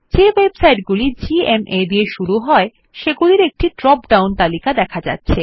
যে ওয়েবসাইট গুলি জিএমএ দিয়ে শুরু হয় সেগুলির একটি ড্রপ ডাউন তালিকা দেখা যাচ্ছে